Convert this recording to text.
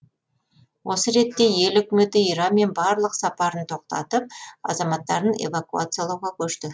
осы ретте ел үкіметі иранмен барлық сапарын тоқтатып азаматтарын эвакуациялауға көшті